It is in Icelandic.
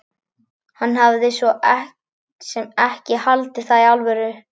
Hann hafði svo sem ekki haldið það í alvöru.